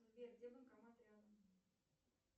сбер где банкомат рядом